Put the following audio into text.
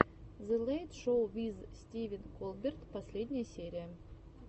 зе лэйт шоу виз стивен колберт последняя серия